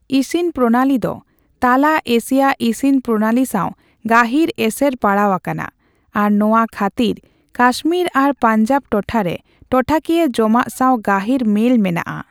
ᱤᱥᱤᱱ ᱯᱨᱚᱱᱟᱞᱤ ᱫᱚ ᱛᱟᱞᱟ ᱮᱥᱤᱭᱟ ᱤᱥᱤᱱ ᱯᱨᱚᱱᱟᱞᱤ ᱥᱟᱣ ᱜᱟᱹᱦᱤᱨ ᱮᱥᱮᱨ ᱯᱟᱲᱟᱣ ᱟᱠᱟᱱᱟ, ᱟᱨ ᱱᱚᱣᱟ ᱠᱷᱟᱛᱤᱨ ᱠᱟᱥᱢᱤᱨ ᱟᱨ ᱯᱟᱧᱡᱟᱵᱽ ᱴᱚᱴᱷᱟ ᱨᱮ ᱴᱚᱴᱷᱟᱠᱤᱭᱟᱹ ᱡᱚᱢᱟᱜ ᱥᱟᱣ ᱜᱟᱹᱦᱤᱨ ᱢᱮᱹᱞ ᱢᱮᱱᱟᱜᱼᱟ ᱾